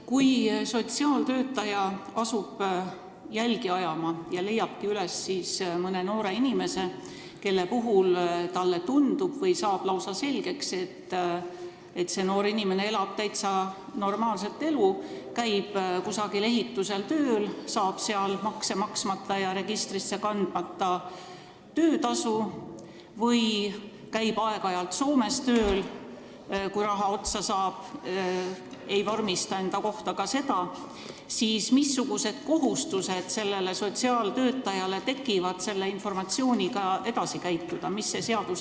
Kui sotsiaaltöötaja asub jälgi ajama ja leiab üles mõne noore inimese, kelle puhul talle tundub või on lausa selgeks saanud, et see noor inimene elab täitsa normaalset elu – ta käib kusagil ehitusel tööl, saab seal makse maksmata ja töötamise registrisse kandmata töötasu, või käib aeg-ajalt Soomes tööl, kui raha otsa saab, aga ei vormista seda ametlikult –, siis mida peab sotsiaaltöötaja selle informatsiooniga peale hakkama?